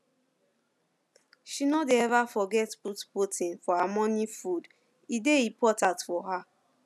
she no dey ever forget put protein for her morning foode dey important for her